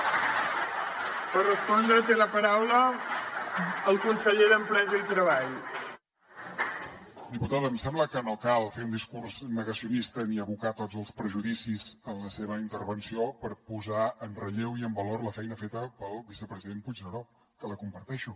diputada em sembla que no cal fer un discurs negacionista ni abocar tots els prejudicis en la seva intervenció per posar en relleu i en valor la feina feta pel vicepresident puigneró que comparteixo